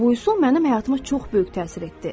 Bu üsul mənim həyatıma çox böyük təsir etdi.